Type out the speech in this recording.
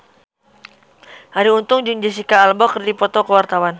Arie Untung jeung Jesicca Alba keur dipoto ku wartawan